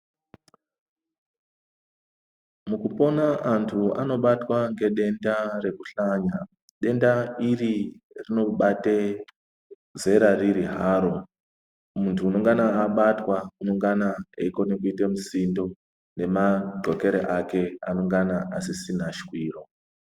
Mukupona antu anobatwa ngedenda rekuhlanya. Denda iri rinobate zera riri haro. Muntu unongana abatwa unongana eikone kuite musindo, nemadxokere ake anengana asisina shwiro.